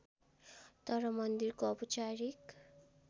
तर मन्दिरको औपचारिक